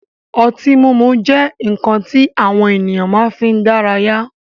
Ọtí mímu jẹ́ nkan ti àwọn ènìyàn máa fi ń dára yá